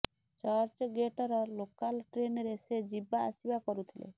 church ଗେଟର local ଟ୍ରେନରେ ସେ ଯିବା ଆସିବା କରୁଥିଲେ